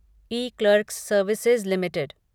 eClerx services limited